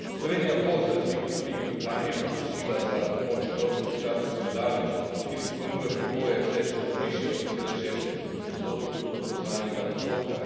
Slovenija bo za razliko od Velike Britanije zaprosila za pomoč evropski sklad za solidarnost, ker izpolnjuje pogoje, saj je škoda višja od 0,6 odstotka bruto nacionalnega dohodka.